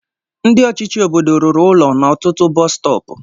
Ndị ọchịchị obodo rụrụ ụlọ na ọtụtụ bọs stọọpu.